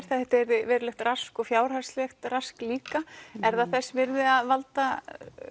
þetta yrði verulegt rask og fjárhagslegt rask líka er það þess virði að valda